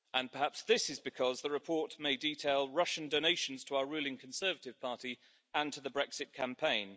Perhaps this is because the report may detail Russian donations to our ruling Conservative party and to the Brexit campaign.